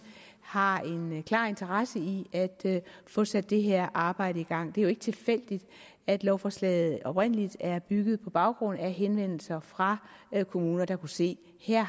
har en klar interesse i at få sat det her arbejde i gang det er jo ikke tilfældigt at lovforslaget oprindelig er bygget på baggrund af henvendelser fra kommuner der kunne se at her